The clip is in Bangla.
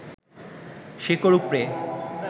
শেকড় উপড়ে